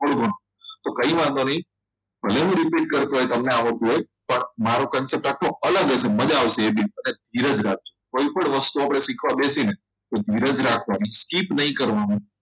થોડું ઘણું તો કંઈ વાંધો નહીં પણ એવી જ રીતે કરતો હોય તમને આવડતું હોય પણ મારું concept આખો અલગ હશે મજા આવશે કોઈપણ વસ્તુ આપણે શીખવા બેસીને તો ધીરે ધીરે આપવાની skip નહીં કરવાનું